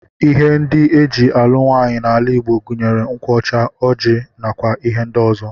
Ihe ndị e ji alụ nwaanyị n'ala Igbo gụnyere nkwụ ọcha, ọjị, nakwa ihe ndị ọzọ